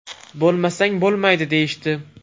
Bo‘lmasang bo‘lmaydi, deyishdi.